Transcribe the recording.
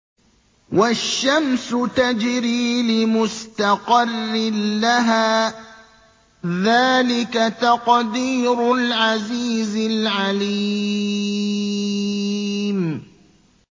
وَالشَّمْسُ تَجْرِي لِمُسْتَقَرٍّ لَّهَا ۚ ذَٰلِكَ تَقْدِيرُ الْعَزِيزِ الْعَلِيمِ